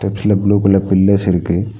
சில blue colour pillars இருக்கு.